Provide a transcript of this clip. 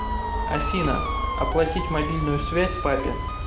афина оплатить мобильную связь папе